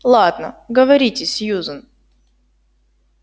ладно говорите сьюзен